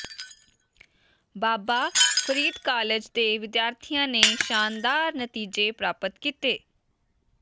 ਬਾਬਾ Farid college ਦੇ ਵਿਦਿਆਰਥੀਆਂ ਨੇ ਸ਼ਾਨਦਾਰ ਨਤੀਜੇ ਪ੍ਰਾਪਤ ਕੀਤੇ